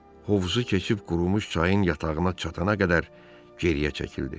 Hovuzu keçib qurumuş çayın yatağına çatana qədər geriyə çəkildi.